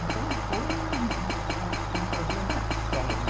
Então, foi um um problema sério.